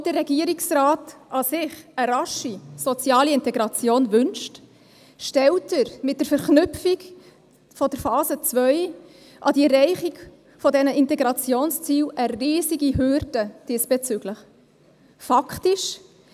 Obwohl der Regierungsrat an und für sich eine rasche soziale Integration wünscht, stellt er mit der Verknüpfung der Phase 2 mit der Erreichung dieser Integrationsziele diesbezüglich eine riesige Hürde auf.